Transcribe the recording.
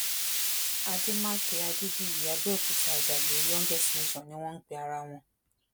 àdèmàkè adébìyí abẹ́òkúta àjàgbé youngest nation ni wọn ń pe ara wọn